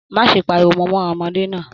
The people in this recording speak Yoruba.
Má ṣe páríwó mọ ọmọdé náà!